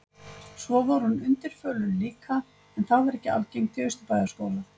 Svo var hún undirförul líka, en það var ekki algengt í Austurbæjarskóla.